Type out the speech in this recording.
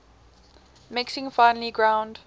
mixing finely ground